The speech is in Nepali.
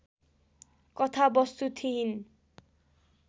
कथावस्तु थिइन्